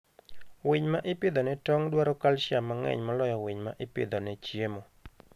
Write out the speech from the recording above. Winy ma ipidho ne tong dwaro calcium mang'eny moloyo winy ma ipidho ne chiemo.